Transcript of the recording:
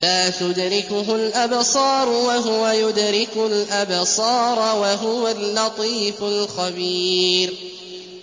لَّا تُدْرِكُهُ الْأَبْصَارُ وَهُوَ يُدْرِكُ الْأَبْصَارَ ۖ وَهُوَ اللَّطِيفُ الْخَبِيرُ